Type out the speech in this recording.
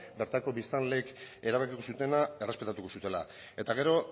bertako biztanleek erabaki zutena errespetatuko zutela eta gero